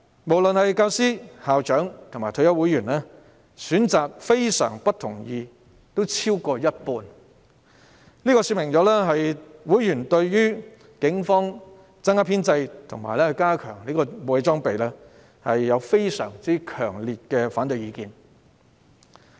不論是教師、校長或退休會員，均有過半數選擇非常不同意，這說明會員對於警方增加編制和加強武器裝備有非常強烈的反對意見。